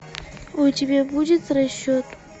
у тебя будет расчет